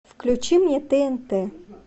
включи мне тнт